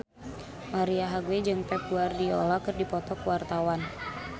Marisa Haque jeung Pep Guardiola keur dipoto ku wartawan